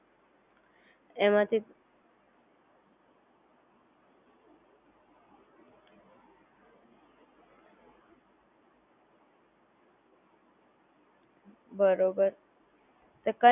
બરોબર કઈ વાંધો નહિ, તમે ચિંતા ના કરો મેં તમને સમજાવી આપું